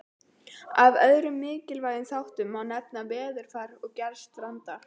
Af öðrum mikilvægum þáttum má nefna veðurfar og gerð strandar.